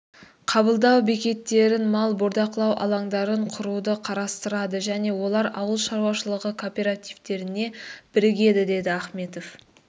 қабылдау бекеттерін мал бордақылау алаңдарын құруды қарастырады және олар ауыл шаруашылығы кооперативтеріне бірігеді деді ахметов